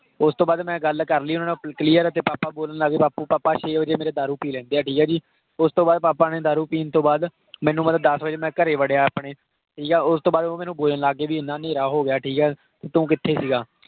ਓਸ ਤੋਂ ਬਾਅਦ ਮੈਂ ਗਲ ਕਰਲੀ ਉਹਨਾਂ ਨਾਲ clear, ਤੇ papa ਬੋਲਣ ਲੱਗ ਗਏ। ਬਾਪੂ papa ਛੇ ਵਜੇ ਮੇਰੇ ਦਾਰੂ ਪੀ ਲੈਂਦੇ ਆ ਜੀ। ਠੀਕ ਹੈ ਜੀ। ਉਸਤੋਂ ਬਾਅਦ papa ਨੇ ਦਾਰੂ ਪੀਣ ਤੋਂ ਬਾਅਦ ਮੈਨੂੰ ਮਤਲਬ ਦੱਸ ਵਜੇ ਮੈਂ ਘਰੇ ਵੜਿਆ ਆਪਣੇ ਠੀਕ ਆ । ਉਸਤੋਂ ਬਾਅਦ ਉਹ ਮੈਨੂੰ ਬੋਲਣ ਲੱਗ ਗਏ ਪੀ, ਇੰਨਾ ਨੇਹਰਾ ਹੋ ਗਿਆ ਠੀਕ ਹੈ। ਤੂੰ ਕਿੱਥੇ ਸੀ ਗਾ?